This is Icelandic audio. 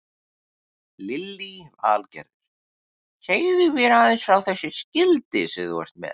Lillý Valgerður: Segðu mér aðeins frá þessu skilti sem þú ert með?